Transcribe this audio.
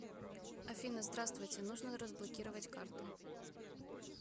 афина здравствуйте нужно разблокировать карту